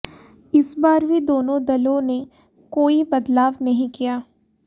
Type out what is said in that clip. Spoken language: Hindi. इस बार भी दोनों दलों ने कोई बदलाव नहीं किया